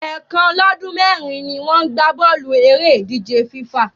Ẹ̀ẹ̀kan lọ́dún mẹ́rin ni wọ́n ń gbá bọ́ọ̀lù eré ìdíje FIFA